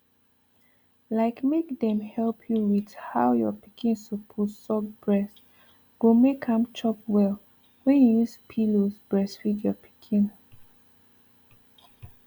like make dem help you with how your pikin suppose suck breast go make am chop well wen you use pillows breastfeed your pikin